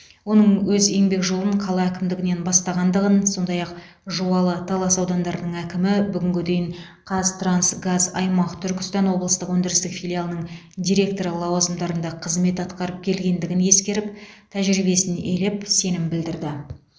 оның өз еңбек жолын қала әкімдігінен бастағандығын сондай ақ жуалы талас аудандарының әкімі бүгінге дейін қазтрансгаз аймақ түркістан облыстық өндірістік филиалының директоры лауазымдарында қызмет атқарып келгендігін ескеріп тәжірибесін елеп сенім білдірді